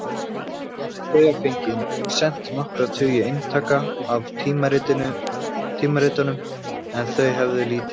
Hann hafði þegar fengið send nokkra tugi eintaka af tímaritunum en þau hefðu lítið selst.